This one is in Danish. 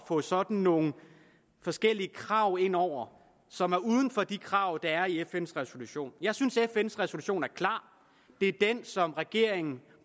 få sådan nogle forskellige krav ind over som er uden for de krav der er i fns resolution jeg synes at fns resolution er klar det er den som regeringen